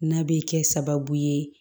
N'a bɛ kɛ sababu ye